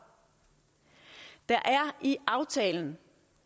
der er i aftalen